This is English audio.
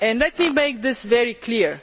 Let me make this very